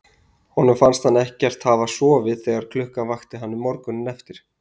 Honum fannst hann ekkert hafa sofið þegar klukkan vakti hann morguninn eftir.